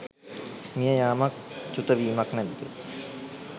මිය යාමක් චුතවීමක් නැද්ද